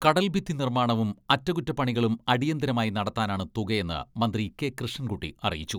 കടൽഭിത്തി നിർമ്മാണവും അറ്റകുറ്റപ്പണികളും അടിയന്തരമായി നടത്താനാണ് തുകയെന്ന് മന്ത്രി കെ.കൃഷ്ണൻകുട്ടി അറിയിച്ചു.